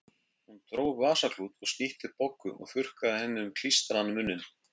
Hún dró upp vasaklút og snýtti Boggu og þurrkaði henni um klístraðan munninn.